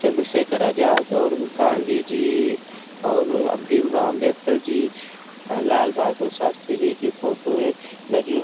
चंद्रशेखर आजाद और गाँधी जी और भीम राव अंबेडकर जी लाल बहादुर शास्त्री जी की फोटो हैं लगी हैं।